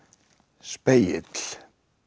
spegill